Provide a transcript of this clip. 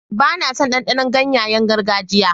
Ba na son ɗanɗanon ganyayen gargajiya.